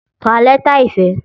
Ká lẹ́tà ìfẹ́!